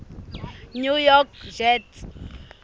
new york jets